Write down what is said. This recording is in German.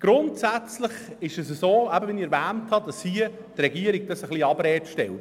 Doch die Regierung stellt dies ein wenig in Abrede.